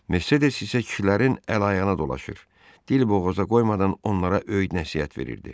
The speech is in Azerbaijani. Mersedes isə kişilərin əl-ayağına dolaşır, dil boğaza qoymadan onlara öyüd-nəsihət verirdi.